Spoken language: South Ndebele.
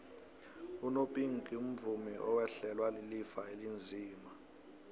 unopinki umvumi owehlelwa lilifa elinzima